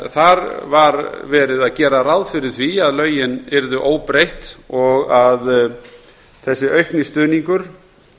þar var gert ráð fyrir því að lögin yrðu óbreytt og að þessi aukni stuðningur